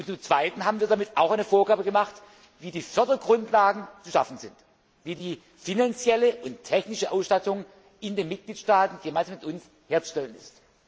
sind. Zum Zweiten haben wir damit auch eine Vorgabe gemacht, wie die Fördergrundlagen zu schaffen sind, wie die finanzielle und technische Ausstattung in den Mitgliedstaaten jeweils mit uns herzustellen